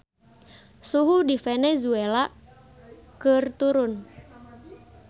Suhu di Venezuela keur turun